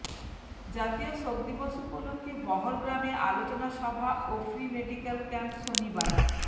জাতীয় শোক দিবস উপলক্ষে বহরগ্রামে আলোচনা সভা ও ফ্রি মেডিকেল ক্যাম্প শনিবার